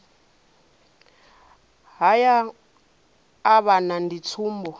mahaya a vhana ndi tsumbo